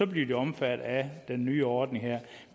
de omfattet af den nye ordning her